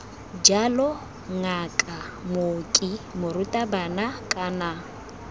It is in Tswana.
jalo ngaka mooki morutabana kana